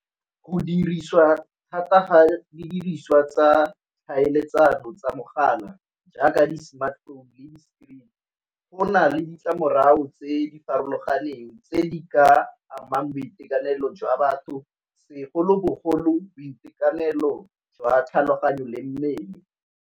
Go dirisiwa thata fa didiriswa tsa tlhaeletsano tsa mogala jaaka di-smartphone le di-screen go na le ditlamorago tse di farologaneng tse di ka amang boitekanelo jwa batho, segolobogolo boitekanelo jwa tlhaloganyo le mmele.